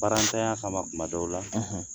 Baarantanya tuma dɔw la